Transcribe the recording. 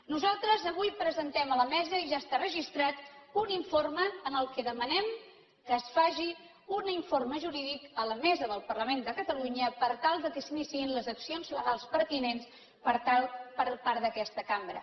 nosaltres avui presentem a la mesa i ja està registrat un informe en què demanem que es faci un informe jurídic a la mesa del parlament de catalunya per tal que s’iniciïn les accions legals pertinents per part d’aquesta cambra